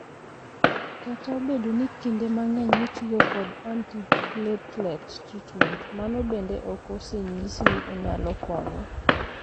Kata obedo ni kinde mang'eny itiyo kod antiplatelet treatment, mano bende ok osenyis ni onyalo konyo.